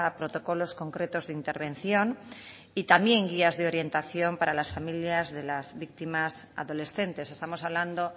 protocolos concretos de intervención y también guías de orientación para las familias de las víctimas adolescentes estamos hablando